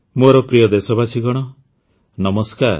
ମୋର ପ୍ରିୟ ଦେଶବାସୀଗଣ ନମସ୍କାର